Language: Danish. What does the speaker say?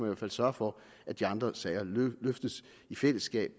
hvert fald sørge for at de andre sager løftes i fællesskab